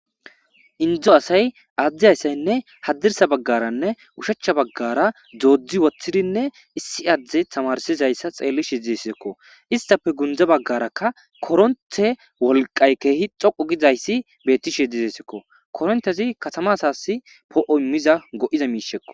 Indzo asay aaddi ayssaynne haddirsa baggaranne ushachcha baggara doodzdzi woththidinne issi adde tamarsizayssa xeelli shidessekko istafe gundza baggarakka koronthe wolqay keehi xoqu gizayssi beetti she dizesekko korontezi katama asasi poo7o immiza go7iza miishekko